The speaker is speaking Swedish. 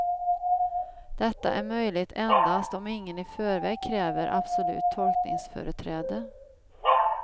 Detta är möjligt endast om ingen i färväg kräver absolut tolkningsföreträde.